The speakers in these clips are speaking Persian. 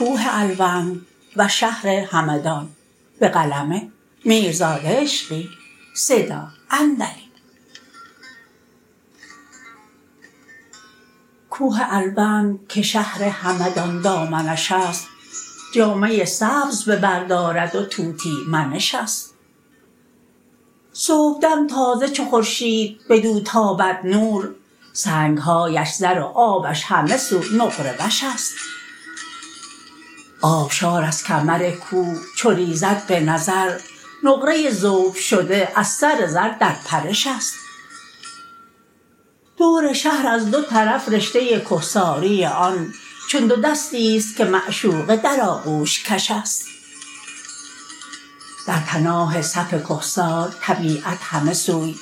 کوه الوند که شهر همدان دامنش است جامه سبز به بر دارد و طوطی منش است صبحدم تازه چو خورشید بدو تابد نور سنگ هایش زر و آبش همه سو نقره وش است آبشار از کمر کوه چو ریزد به نظر نقره ذوب شده از سر زر در پرش است دور شهر از دو طرف رشته کهساری آن چون دو دستی ست که معشوقه در آغوش کش است در پناه صف کهسار طبیعت همه سوی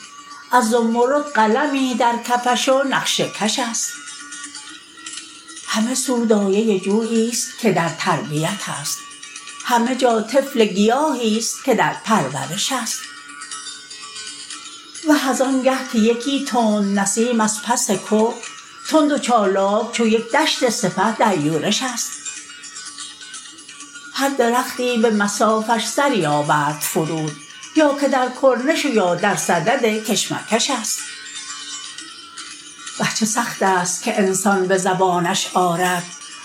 از زمرد قلمی در کفش و نقشه کش است همه سو دایه جویی ست که در تربیت است همه جا طفل گیاهی ست که در پرورش است وه از آنگه که یکی تند نسیم از پس که تند و چالاک چو یک دشت سپه در یورش است هر درختی به مصافش سری آورد فرود یا که در کرنش و یا درصدد کشمکش است وه چه سخت است که انسان به زبانش آرد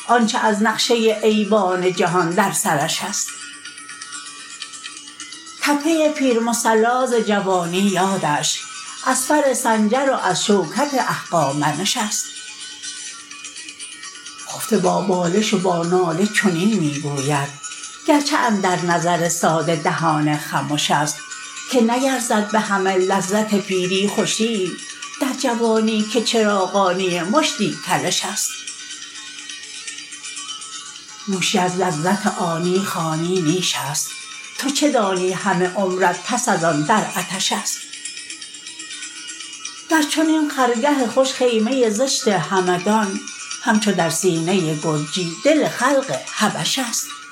آنچه از نقشه ایوان جهان در سرش است تپه پیر مصلی ز جوانی یادش از فر سنجر و از شوکت اهخامنش است خفته با بالش و با ناله چنین می گوید گرچه اندر نظر ساده دهان خمش است که نیرزد به همه لذت پیری خوشی ای در جوانی که چراغانی مشتی کلش است نوشی از لذت آنی خوانی نیش است تو چه دانی همه عمرت پس از آن در عطش است در چنین خرگه خوش خیمه زشت همدان همچو در سینه گرجی دل خلق حبش است